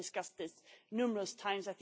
We have discussed this numerous times.